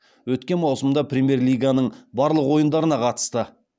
өткен маусымда премьер лиганың барлық ойындарына қатысты